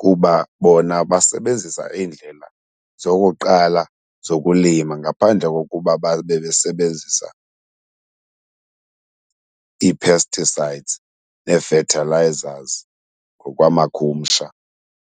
kuba bona basebenzisa iindlela zokuqala zokulima ngaphandle kokuba babe besebenzisa ii-pesticides nee-fertilizers ngokwamakhumsha.